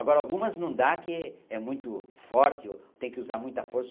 Agora, algumas não dá que é muito forte ou tem que usar muita força.